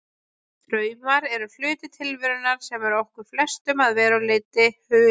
Draumar eru hluti tilverunnar sem er okkur flestum að verulegu leyti hulinn.